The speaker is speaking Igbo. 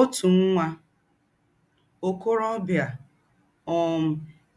Ōtụ́ nwạ́ ọ̀kòròbìà um